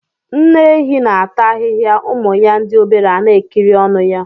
Nne ehi na ata ahịhịa ụmụ ya ndị obere ana ekiri ọnụ ya.